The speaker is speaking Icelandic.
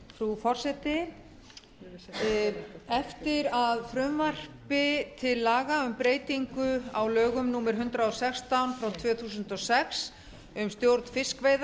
frú forseti eftir að frumvarpi til laga um breytingu á lögum númer hundrað og sextán tvö þúsund og sex um stjórn fiskveiða